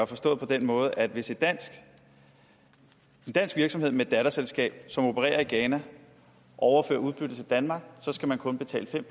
forstås på den måde at hvis en dansk virksomhed med et datterselskab som opererer i ghana overfører udbyttet til danmark skal man kun betale fem